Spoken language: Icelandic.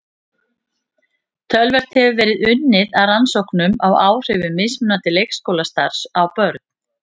Töluvert hefur verið unnið að rannsóknum á áhrifum mismunandi leikskólastarfs á börn.